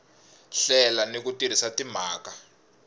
hlela ni ku tirhisa timhaka